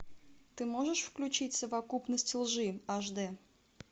ты можешь включить совокупность лжи аш д